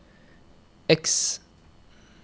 X